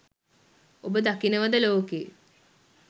ඔබ දකිනවද ලෝකෙ